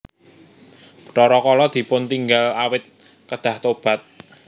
Bathara Kala dipuntinggal awit kedah tobat